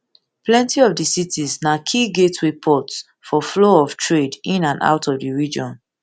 plenti of di cities na key gateway ports for flow of trade in and out of di region